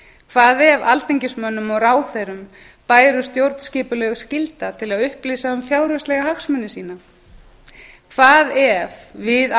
hvað ef alþingismönnum og ráðherrum bæri stjórnskipuleg skylda til að upplýsa um fjárhagslega hagsmuni sína hvað ef við